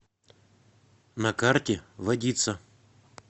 на карте водица